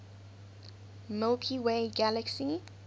milky way galaxy